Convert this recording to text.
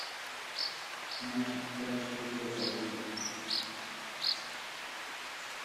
мальчики краше цветов аш ди